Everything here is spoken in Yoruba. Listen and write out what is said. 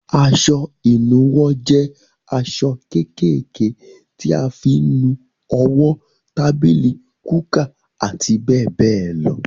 Aṣọ ìnuwọ́ jẹ aṣọ kékèké tí a fi ń nu owó, tábìlì, kúkà àti bẹ́ẹ̀ bẹ́ẹ̀ lọ.